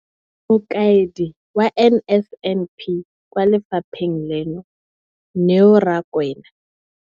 Mokaedi wa NSNP kwa lefapheng leno, Neo Rakwena,